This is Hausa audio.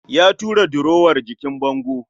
Ya tura durowar jikin bango